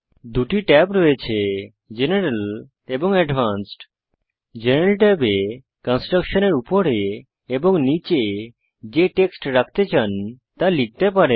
দুটি ট্যাব রয়েছে জেনারেল এবং অ্যাডভান্সড জেনারেল ট্যাবে কনস্ট্রাক্টশনের উপরে এবং নীচে যে টেক্সট রাখতে চান তা লিখতে পারেন